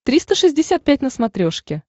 триста шестьдесят пять на смотрешке